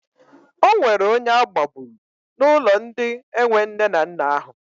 Ọ nwere onye agbagburu n'ụlọ ndị enwe nne na nna ahụ.